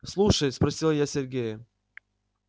слушай спросила я сергея